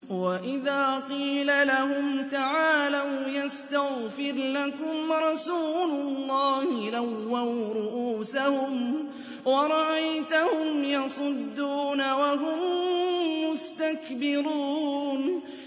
وَإِذَا قِيلَ لَهُمْ تَعَالَوْا يَسْتَغْفِرْ لَكُمْ رَسُولُ اللَّهِ لَوَّوْا رُءُوسَهُمْ وَرَأَيْتَهُمْ يَصُدُّونَ وَهُم مُّسْتَكْبِرُونَ